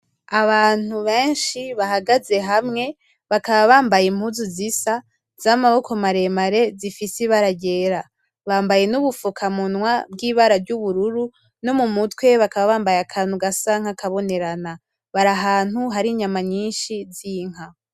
Abantu benshi bahagaze hamwe bakaba bambaye impuzu zisa, z'amaboko maremare zifise ibara ryera. Bambaye n'ubupfukamunwa bw'ibara ry'ubururu, no mu mutwe bakaba bambaye akantu gasa nk'akabonerana. Bari ahantu hari inyama nyinshi z'inka